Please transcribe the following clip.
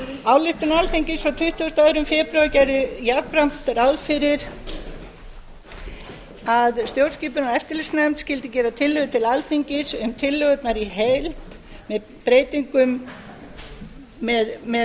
ályktun alþingis frá tuttugasta og annan febrúar gerði jafnframt ráð fyrir að stjórnskipunar og eftirlitsnefnd skyldi gera tillögur til alþingis um tillögurnar í heild með